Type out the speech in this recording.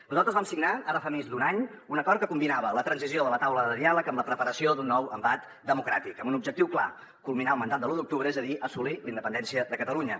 nosaltres vam signar ara fa més d’un any un acord que combinava la transició de la taula de diàleg amb la preparació d’un nou embat democràtic amb un objectiu clar culminar el mandat de l’u d’octubre és a dir assolir la independència de catalunya